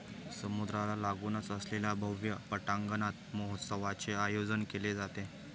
समुद्राला लागुनच असलेल्या भव्य पटांगणात महोत्सवाचे आयोजन केले जाते.